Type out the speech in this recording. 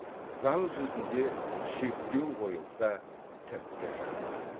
заң жүзінде шектеу қойылса тіпті жақсы